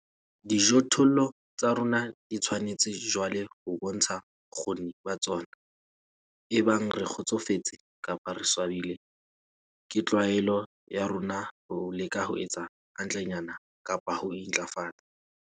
Dijothollo tsa rona di tshwanetse jwale ho bontsha bokgoni ba tsona, ebang re kgotsofetse kapa re swabile, ke tlwaelo ya rona ho leka ho etsa hantlenyana kapa ho intlafatsa.